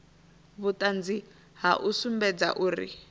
vhuṱanzi ha u sumbedza uri